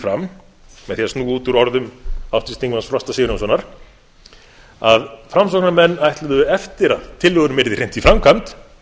fram með því að snúa út úr orðum háttvirts þingmanns frosta sigurjónssonar að framsóknarmenn ætluðu eftir að tillögum yrði hrint í framkvæmd